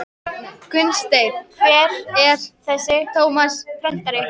Gunnsteinn: Hver er þessi Tómas prentari?